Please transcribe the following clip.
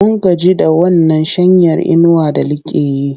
Mun gaji da wannan shanyar inuwar da like yi.